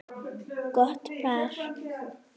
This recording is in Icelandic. Gott par.